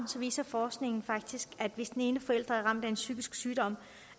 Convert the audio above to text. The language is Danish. viser forskningen faktisk at hvis den ene forælder er ramt af en psykisk sygdom